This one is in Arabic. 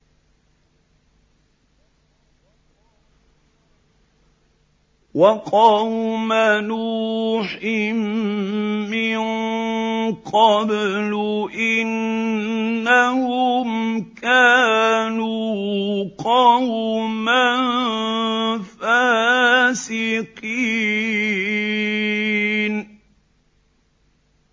وَقَوْمَ نُوحٍ مِّن قَبْلُ ۖ إِنَّهُمْ كَانُوا قَوْمًا فَاسِقِينَ